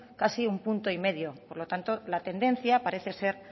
casi un punto y medio por lo tanto la tendencia parece ser